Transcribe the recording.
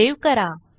save करा